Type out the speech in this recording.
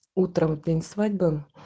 утром в день свадьбы